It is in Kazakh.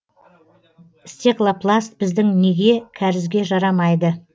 стеклопласт біздің неге кәрізге жарамайды